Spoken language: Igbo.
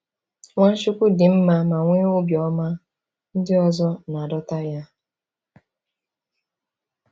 Nwachukwu dị mma ma nwee obiọma, ndị ọzọ na-adọta ya.